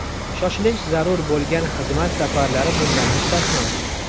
Shoshilinch zarur bo‘lgan xizmat safarlari bundan mustasno.